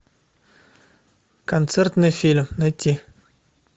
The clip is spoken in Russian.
концертный фильм найти